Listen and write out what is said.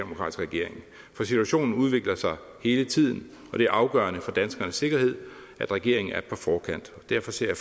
regering for situationen udvikler sig hele tiden og det er afgørende for danskernes sikkerhed at regeringen er og derfor ser